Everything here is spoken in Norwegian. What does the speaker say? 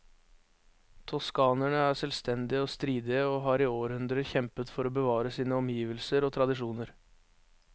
Toskanerne er selvstendige og stridige, og har i århundrer kjempet for å bevare sine omgivelser og tradisjoner.